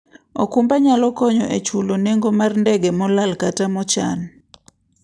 okumba nyalo konyo e chulo nengo mar ndege molal kata mochan.